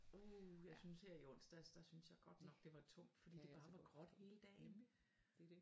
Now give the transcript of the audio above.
Uh jeg synes her i onsdags der synes jeg godt nok det var tungt fordi det bare var gråt hele dagen